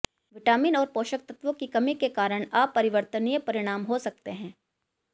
vitamin और पोषक तत्वों की कमी के कारण अपरिवर्तनीय परिणाम हो सकते हैं